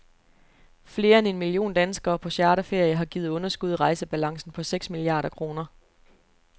Flere end en million danskere på charterferie har givet underskud i rejsebalancen på seks milliarder kroner.